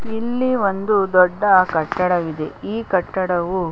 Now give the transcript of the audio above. ಇಲ್ಲಿ ಒಂದು ದೊಡ್ಡ ಕಟ್ಟಡವಿದೆ ಈ ಕಟ್ಟಡವು --